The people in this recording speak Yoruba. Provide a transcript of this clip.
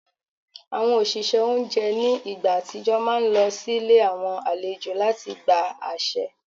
Àwọn òṣìṣẹ́ oúnjẹ ní ìgbà àtijọ́ máa ń lọ sílé àwọn àlejò láti gba àṣẹ